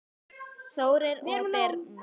Þórir og Birna.